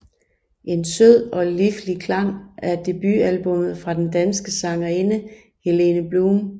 En sød og liflig klang er debutalbummet fra den danske sangerinde Helene Blum